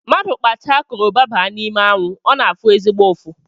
Mmadụ kpacha koroba baa n’ime anwụ ọ na-afụ ezigbo ụfụ